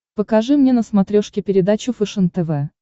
покажи мне на смотрешке передачу фэшен тв